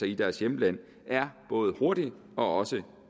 i deres hjemland er både hurtig og